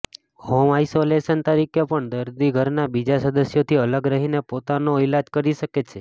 home isolation તરીકે પણ દર્દી ઘરનાં બીજા સદસ્યોથી અલગ રહીને પોતોનો ઈલાજ કરી શકે છે